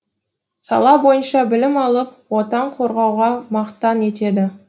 сала бойынша білім алып отан қорғауды мақтан етеді